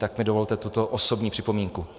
Tak mi dovolte tuto osobní připomínku.